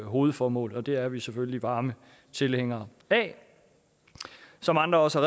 hovedformål og det er vi selvfølgelig varme tilhængere af som andre også